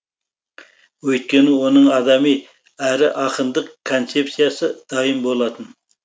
өйткені оның адами әрі ақындық концепсиясы дайын болатын